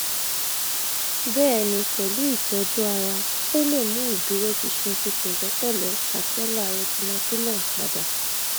bẹẹni pẹlu itọju ara o le mu iduroṣinṣin ti pẹlẹpẹlẹ patellar retinaculum pada